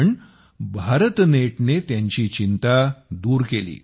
पण भारतनेटने त्यांची चिंता दूर केली